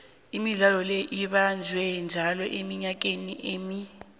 imidlalo le ibanjwa njalo eminyakeni emine